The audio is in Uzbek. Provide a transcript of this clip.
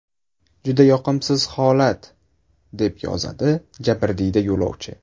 Juda yoqimsiz holat”, deb yozadi jabrdiyda yo‘lovchi.